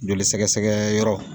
Jolisɛgɛsɛgɛyɔrɔ